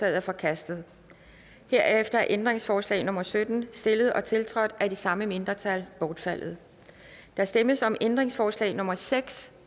er forkastet herefter er ændringsforslag nummer sytten stillet og tiltrådt af de samme mindretal bortfaldet der stemmes om ændringsforslag nummer seks